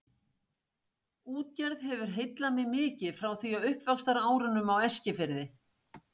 Útgerð hefur heillað mig mikið frá því á uppvaxtarárunum á Eskifirði.